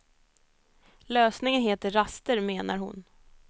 Lösningen heter raster, menar hon.